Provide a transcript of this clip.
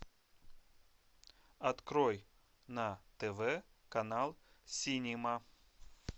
открой на тв канал синема